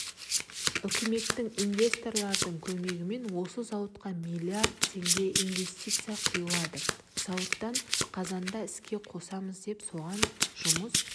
үкіметтің инвесторлардың көмегімен осы зауытқа миллиард теңге инвестиция құйылды зауытты қазанда іске қосамыз деп соған жұмыс